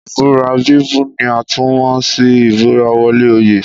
Ìbúra bíbú ni a tún mọ̀ sí ìbúra wọlé oyè